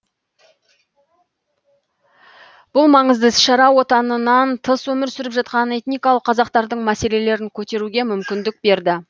бұл маңызды іс шара отанынан тыс өмір сүріп жатқан этникалық қазақтардың мәселелерін көтеруге мүмкіндік берді